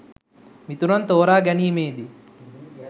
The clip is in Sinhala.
මිතුරන් තෝරා ගැනීමේදී